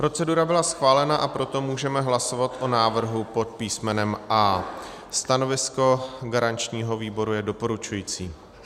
Procedura byla schválena, a proto můžeme hlasovat o návrhu pod písmenem A. Stanovisko garančního výboru je doporučující.